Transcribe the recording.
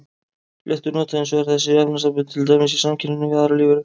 Fléttur nota hins vegar þessi efnasambönd til dæmis í samkeppninni við aðrar lífveru.